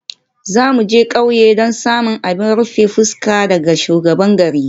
Za mu je ƙauye don samun abin rufe fuska daga shugaban garin.